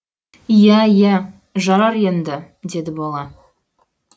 иә иә жарар енді деді бала